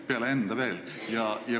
... peale enda?